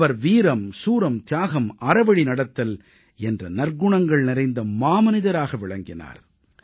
அவர் வீரம் சூரம் தியாகம் அறவழி நடத்தல் என்ற நற்குணங்கள் நிறைந்த மாமனிதராக விளங்கினார்